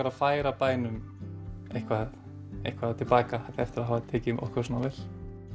að færa bænum eitthvað eitthvað til baka eftir að hafa tekið okkur svona vel